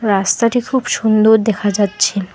রাস্তাটি খুব সুন্দর দেখা যাচ্ছে।